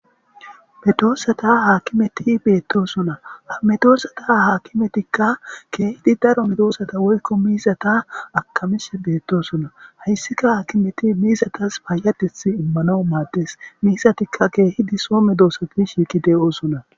Medoosata haakimeti beettosuna amedoossata haakimetikka keehidi daro medoosata woykko miizata akamish beettosuna hayssika haakimeti miizatas payadeth immana maaddes miisatikka keehidi soo me doosafi shiiki de'oosuna